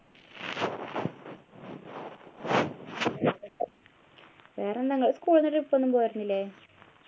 വേറെ എന്താ നിങ്ങള് school ന്നു trip ഒന്നും പോയിരുന്നില്ലേ